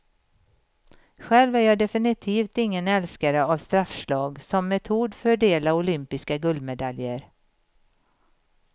Själv är jag definitivt ingen älskare av straffslag som metod fördela olympiska guldmedaljer.